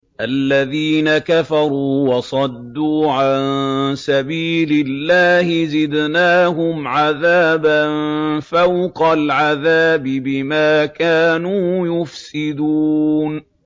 الَّذِينَ كَفَرُوا وَصَدُّوا عَن سَبِيلِ اللَّهِ زِدْنَاهُمْ عَذَابًا فَوْقَ الْعَذَابِ بِمَا كَانُوا يُفْسِدُونَ